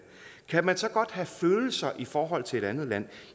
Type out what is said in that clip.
kan man så godt have følelser i forhold til et andet land